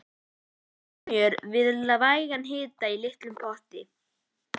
Bræðið smjör við vægan hita í litlum potti.